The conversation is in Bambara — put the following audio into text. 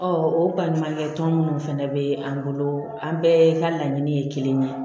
o baɲumankɛ tɔn minnu fana bɛ an bolo an bɛɛ ka laɲini ye kelen ye